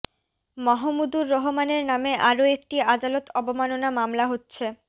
মাহমুদুর রহমানের নামে আরও একটি আদালত অবমাননা মামলা হচ্ছে